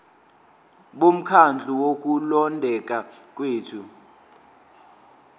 bomkhandlu wokulondeka kwethu